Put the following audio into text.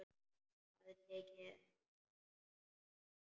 Hafði tekið eftir henni.